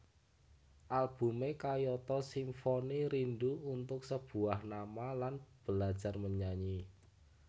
Albume kayata Simfoni Rindu Untuk Sebuah Nama lan Belajar Menyanyi